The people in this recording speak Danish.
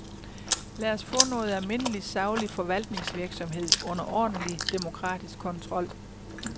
Lad os få noget almindelig saglig forvaltningsvirksomhed under ordentlig demokratisk kontrol.